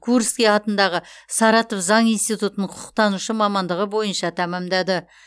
курский атындағы саратов заң институтын құқықтанушы мамандығы бойынша тәмамдады